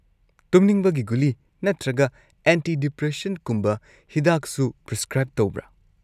ꯇꯨꯝꯅꯤꯡꯕꯒꯤ ꯒꯨꯂꯤ ꯅꯠꯇ꯭ꯔꯒ ꯑꯦꯟꯇꯤ-ꯗꯤꯄ꯭ꯔꯦꯁꯦꯟꯠꯀꯨꯝꯕ ꯍꯤꯗꯥꯛꯁꯨ ꯄ꯭ꯔꯤꯁꯀ꯭ꯔꯥꯏꯕ ꯇꯧꯕ꯭ꯔꯥ?